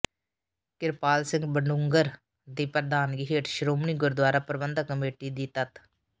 ਕਿਰਪਾਲ ਸਿੰਘ ਬਡੂੰਗਰ ਦੀ ਪ੍ਰਧਾਨਗੀ ਹੇਠ ਸ਼੍ਰੋਮਣੀ ਗੁਰਦੁਆਰਾ ਪ੍ਰਬੰਧਕ ਕਮੇਟੀ ਦੀ ਤਤ